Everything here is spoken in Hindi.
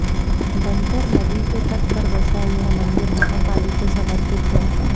बंकर नदी के तट पर बसा यह मंदिर महाकाली को समर्पित है